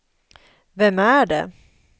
vem är det